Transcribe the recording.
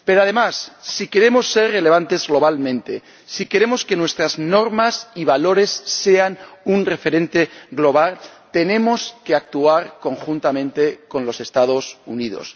Pero, además, si queremos ser relevantes globalmente, si queremos que nuestras normas y valores sean un referente global, tenemos que actuar conjuntamente con los Estados Unidos.